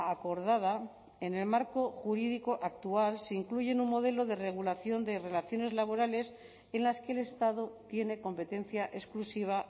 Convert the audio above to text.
acordada en el marco jurídico actual se incluye en un modelo de regulación de relaciones laborales en las que el estado tiene competencia exclusiva